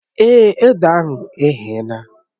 Èé, ede ahụ eghela